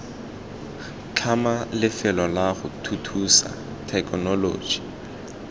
tlhama lefelo lago thuthusa thekenoloji